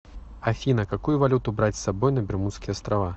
афина какую валюту брать с собой на бермудские острова